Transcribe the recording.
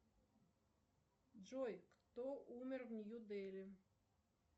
джой кто умер в нью дели